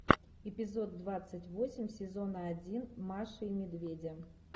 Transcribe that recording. эпизод двадцать восемь сезона один маши и медведя